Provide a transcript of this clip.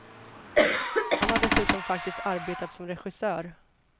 Han har dessutom faktiskt arbetat som regissör.